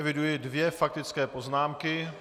Eviduji dvě faktické poznámky.